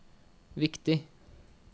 viktig